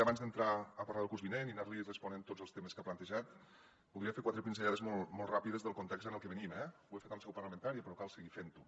abans d’entrar a parlar del curs vinent i anar li responent a tots els temes que ha plantejat voldria fer quatre pinzellades molt ràpides del context del que venim eh ho he fet en seu parlamentària però cal seguir fent ho